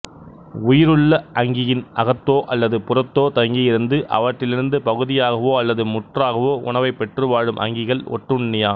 உயிருள்ள அங்கியின் அகத்தோ அல்லது புறத்தோ தங்கியிருந்து அவற்றிலிருந்து பகுதியாகவோ அல்லது முற்றாகவோ உணவைப் பெற்றுவாழும் அங்கிகள் ஒட்டுண்ணி எம்